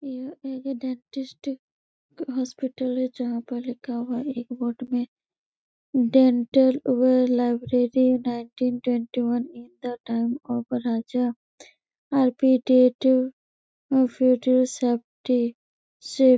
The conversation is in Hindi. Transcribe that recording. यह एक डेंटिस हॉस्पिटल है जहाँ पर लिखा हुआ है एक बोर्ड पे डेंटल वह library nineteen twenty one in the time of Raja --